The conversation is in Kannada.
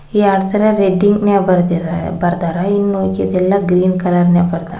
ಎರಡ್ ತರ ರೆಡ್ಡಿಂಕ್ ನಾಗ್ ಬರ್ದದಿರೆ ಬರ್ದರ ಇನ್ನ್ ಉಳ್ಕಿದ್ದೆಲ್ಲಾ ಗ್ರೀನ್ ಕಲರ್ ನಾಗ್ ಬರ್ದರ.